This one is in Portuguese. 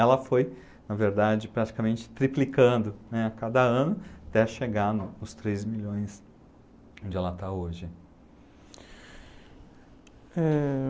Ela foi, na verdade, praticamente triplicando, né, a cada ano até chegar no nos três milhões onde ela está hoje. Eh...